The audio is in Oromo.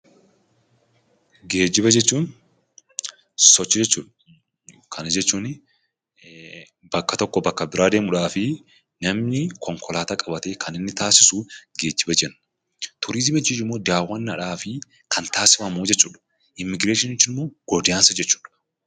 Geejjiba jechuun sochii jechuudha. Kana jechuunni bakka tokko bakka biraa demuudhaaf namni konkolaataa qabate kan inni tasisuu geejjina jena. Turizimii jechuun immoo dawwadhaaf kan tasifamuu jechuudha. Immigireeshinii jechuun immoo goddaansa jechuudha.